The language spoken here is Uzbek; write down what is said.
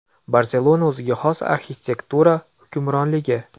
Barselona o‘ziga xos arxitektura hukmronligi.